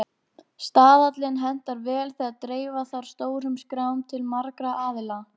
Staðallinn hentar vel þegar dreifa þarf stórum skrám til margra aðila.